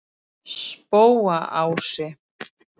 Spóaási